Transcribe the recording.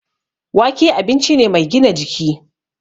Wake abinci ne mai gina jiki